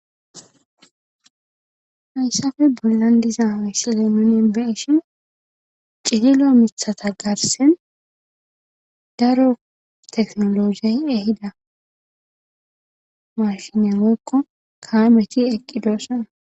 Hayssappe bollan diza misile nuun beyishin ciillillo miiththata garssen daro tekinolojey eehidda daro maashiney woykko kaametti eqidosonna